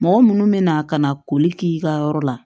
Mɔgɔ munnu bɛna ka na koli k'i ka yɔrɔ la